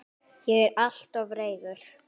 Ég er alltof reiður.